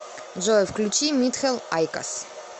джой включи митхел айкос